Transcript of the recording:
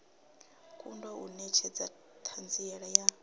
kundwa u netshedza thanziela ya